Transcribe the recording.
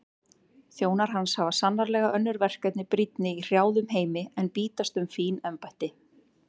Þjónar hans hafa sannarlega önnur verkefni brýnni í hrjáðum heimi en bítast um fín embætti.